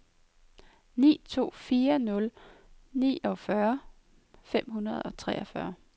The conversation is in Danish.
ni to fire nul niogfyrre fem hundrede og treogfyrre